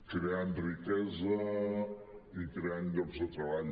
creant riquesa i creant llocs de treball